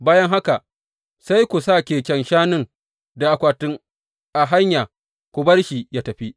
Bayan haka sai ku sa keken shanun da akwatin a hanya, ku bar shi yă tafi.